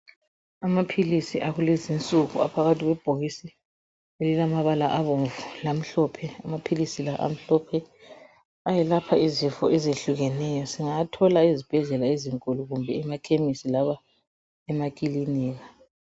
Amaphilisi akulezi nsuku aphakathi kwebhokisi elilamabala abomvu lamhlophe amaphilisi la amhlophe ayelapha izifo ezihlukeneyo singawathola ezibhedlela ezinkulu kumbe emakhemisi loba emakilinika.